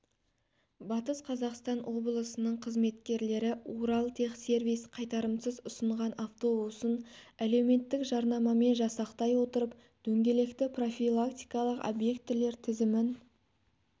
батыс қазақстан облысының қызметкерлері уралтехсервис қайтарымсыз ұсынған автобусын әлеуметтік жарнамамен жасақтай отырып дөңгелекті профилактикалық объектілер тізімін